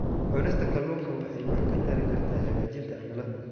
Cunista kalluunka waxay wax ka tari kartaa hagaajinta cimilada.